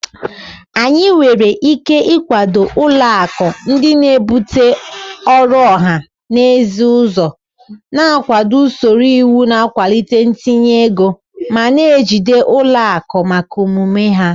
Anyị nwere ike ịkwado ụlọ akụ ndị na-ebute ọrụ ọha na eze ụzọ, na-akwado usoro iwu na-akwalite ntinye ego, ma na-ejide ụlọ akụ maka omume ha.